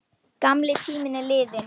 Gamli tíminn er liðinn.